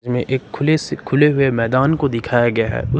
में एक खुले से खुले हुए मैदान को दिखाया गया है।